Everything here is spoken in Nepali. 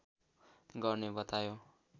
गर्ने बतायो